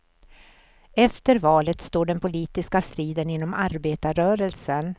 Efter valet står den politiska striden inom arbetarrörelsen.